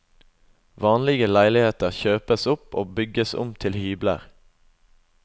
Vanlige leiligheter kjøpes opp og bygges om til hybler.